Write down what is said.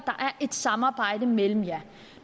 er et samarbejde mellem jer